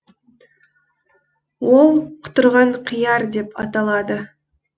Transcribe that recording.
ол құтырған қияр деп аталады